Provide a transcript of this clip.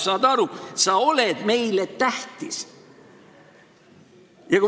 Saad aru, sa oled meile tähtis!